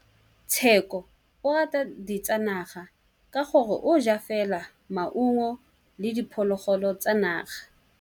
Tshekô o rata ditsanaga ka gore o ja fela maungo le diphologolo tsa naga.